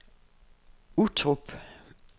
Uttrup